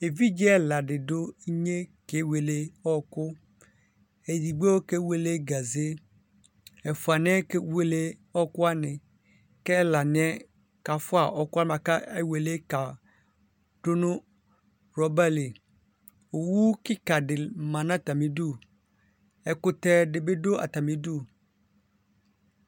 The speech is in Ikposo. Evidze ɛla didʋ inye kewele ɔkʋ edigbo kewele gaze ɛfʋni yɛ kewele ɔkʋ kʋ ɛlani yɛ kafʋa ɔkʋ wani kʋ ewelebm kadʋ nʋ rɔbali owʋ kika di ma nʋ atami idʋ ɛkʋtɛ dibi dʋ atami idʋ